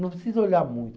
Não precisa olhar muito.